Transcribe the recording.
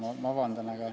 Ei saa?